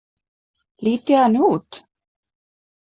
Lít ég þannig út?